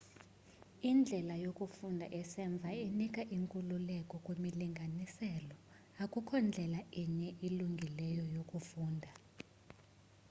indlela yokufunda esemva inika inkululeko kwimilinganiselo akukho ndlela inye ilungileyo yokufunda